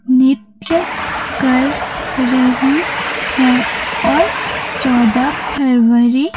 नित्य कर रही है और चौदह फरवरी --